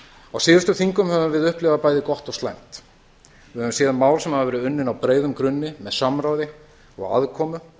á síðustu þingum höfum við upplifað bæði gott og slæmt við höfum séð mál sem hafa verið unnin á breiðum grunni með samráði og aðkomu